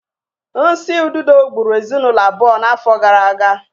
Nsi ududo gburu ezinụlọ abụọ n'afọ gara aga